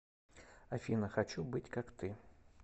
афина хочу быть как ты